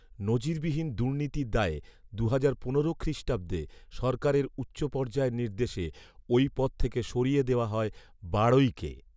নজিরবিহীন দুর্নীতির দায়ে দুহাজার পনেরো খ্রিস্টাব্দে সরকারের উচ্চ পর্যায়ের নির্দেশে ওই পদ থেকে সরিয়ে দেওয়া হয় বাড়ৈকে